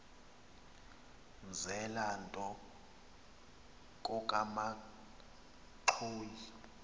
mzela nto kokamanxhoyi